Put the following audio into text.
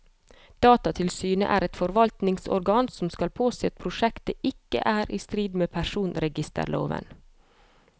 Datatilsynet er et forvaltningsorgan som skal påse at prosjektet ikke er i strid med personregisterloven.